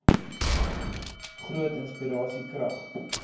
groot inspirasie krag